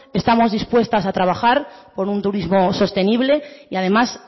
estamos dispuestas a trabajar por un turismo sostenible y además